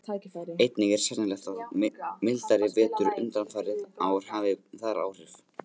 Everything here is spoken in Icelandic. Einnig er sennilegt að mildari vetur undanfarin ár hafi þar áhrif.